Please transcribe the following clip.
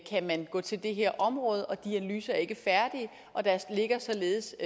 kan gå til det her område men de analyser er ikke færdige og der ligger således